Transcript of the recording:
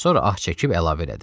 Sonra ah çəkib əlavə elədi: